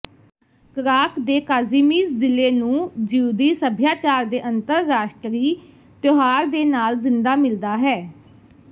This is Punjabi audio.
ਕ੍ਰਾਕ੍ਵ ਦੇ ਕਾਜ਼ੀਮੀਜ਼ ਜ਼ਿਲ੍ਹੇ ਨੂੰ ਜਿਉਦੀ ਸਭਿਆਚਾਰ ਦੇ ਅੰਤਰਰਾਸ਼ਟਰੀ ਤਿਉਹਾਰ ਦੇ ਨਾਲ ਜ਼ਿੰਦਾ ਮਿਲਦਾ ਹੈ